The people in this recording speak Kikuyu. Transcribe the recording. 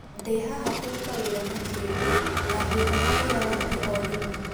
" Ndĩhaha kũruta wĩra na kĩo, na ngũĩhoka wĩra wambie o rĩmwe."